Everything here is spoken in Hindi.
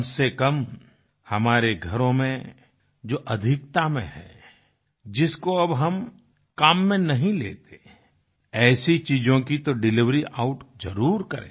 कमसेकम हमारे घरों में जो अधिकता में है जिसको अब हम काम में नहीं लेते ऐसी चीजों की तो डिलिवरी आउट जरुर करें